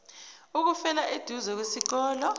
ukufela eduze kwesikole